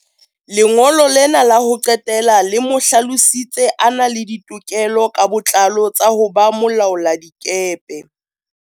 Lengolo lena la ho qetela le mo hlalositse a na le ditokelo ka botlalo tsa ho ba molaoladikepe.